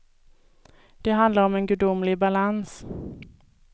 Det handlar om en gudomlig balans.